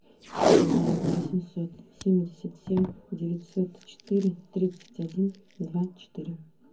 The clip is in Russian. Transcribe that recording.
два восемьсот семьдесят семь девятьсот четыре тридцать один два четыре